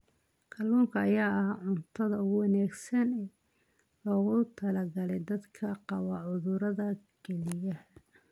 Kalluunka ayaa ah cuntada ugu wanaagsan ee loogu talagalay dadka qaba cudurrada kelyaha.